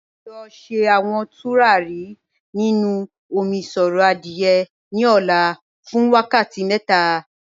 A yọ̀ọ̀ sẹ̀ awọn tùràrí nínu òmíṣọ̀rọ̀ adié ní ò̩là fún wákàtí mẹ́ta.